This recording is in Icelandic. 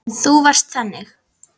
Þú varst þannig.